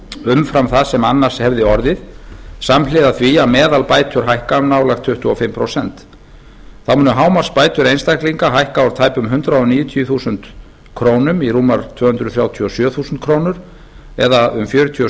umfram það sem annars hefði orðið samhliða því að meðalbætur hækka um nálægt tuttugu og fimm prósent þá munu hámarksbætur einstaklinga hækka úr tæpum hundrað níutíu þúsund krónur í rúmar tvö hundruð þrjátíu og sjö þúsund krónur eða um fjörutíu og